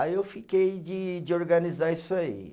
Aí eu fiquei de de organizar isso aí.